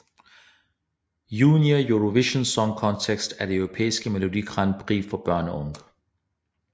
Junior Eurovision Song Contest er det europæiske Melodi Grand Prix for børn og unge